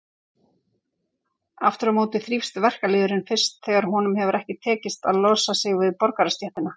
Aftur á móti þrífst verkalýðurinn fyrst þegar honum hefur tekist að losa sig við borgarastéttina.